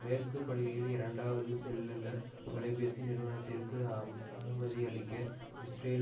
மேற்கு படுகையில் இரண்டாவது செல்லுலர் தொலைபேசி நிறுவனத்திற்கு அனுமதியளிக்க இஸ்ரேல்